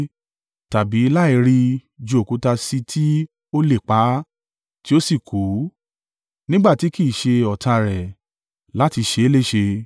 tàbí, láìri, ju òkúta sí tí ó lè pa á, tí ó sì kú, nígbà tí kì í ṣe ọ̀tá rẹ̀, láti ṣe é léṣe.